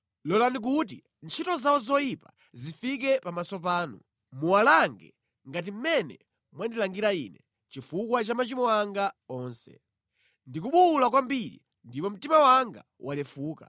“Lolani kuti ntchito zawo zoyipa zifike pamaso panu; muwalange ngati mmene mwandilangira ine chifukwa cha machimo anga onse. Ndikubuwula kwambiri ndipo mtima wanga walefuka.”